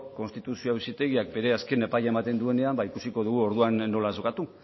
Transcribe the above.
konstituzio auzitegiak bere azken epaia ematen duenean ba ikusiko dugu orduan nola jokatu